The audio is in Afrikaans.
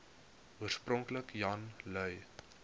oorspronklik jan lui